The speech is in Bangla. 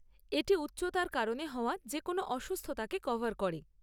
এটি উচ্চতার কারণে হওয়া যেকোনো অসুস্থতাকে কভার করে।